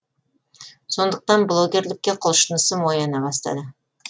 сондықтан блогерлікке құлшынысым ояна бастады